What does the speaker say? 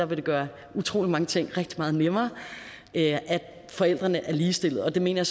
vil gøre utrolig mange ting rigtig meget nemmere at forældrene er ligestillede og det mener